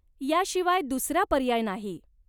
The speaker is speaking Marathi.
याशिवाय दूसरा पर्याय नाही.